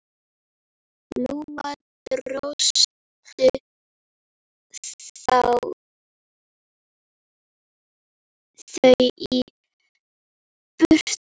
Lóa: Dróstu þau í burtu?